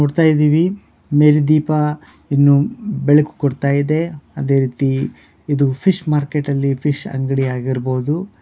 ನೋಡ್ತಾ ಇದ್ದೀವಿ ಮೇಲ್ ದೀಪ ಇನ್ನು ಬೆಳಕ್ ಕೊಡ್ತಾ ಇದೆ ಅದೆ ರೀತಿ ಇದು ಫಿಶ್ ಮಾರ್ಕೆಟ್ ಅಲ್ಲಿ ಫಿಶ್ ಅಂಗಡಿ ಆಗಿರ್ಬೋದು.